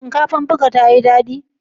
Shinkafar buka tayi dadi?